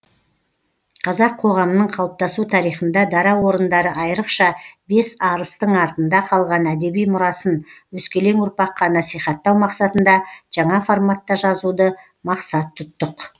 қазақ қоғамының қалыптасу тарихында дара орындары айрықша бес арыстың артында қалған әдеби мұрасын өскелең ұрпаққа насихаттау мақсатында жаңа форматта жазуды мақсат тұттық